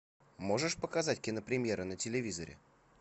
можешь показать кинопремьера на телевизоре